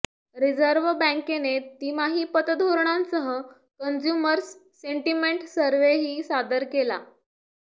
reserve बँकेने तिमाही पतधोरणांसह कन्झ्युमर्स सेंटिमेंट सर्व्हेही सादर केला